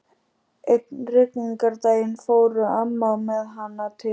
Einn rigningardaginn fór amma með hana til